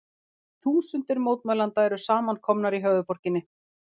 Þúsundir mótmælenda eru samankomnar í höfuðborginni